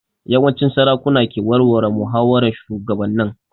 Yawanci sarakuna ke warware muhawaran shugabannin